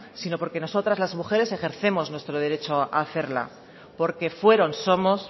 sino porque nosotras las mujeres ejercemos nuestro derecho hacerla porque fueron somos